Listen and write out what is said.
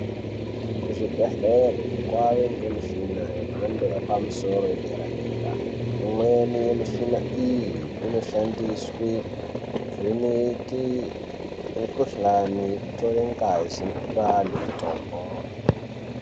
Kuzvibhedhleya kwave nemishina yemhando yepamusoro yedera dera, imweni yemishina iyi inoshandiswe kuvheneke mukuhlani, kutore ngazi nekupa vanhu mitombo.